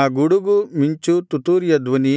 ಆ ಗುಡುಗು ಮಿಂಚು ತುತ್ತೂರಿಯ ಧ್ವನಿ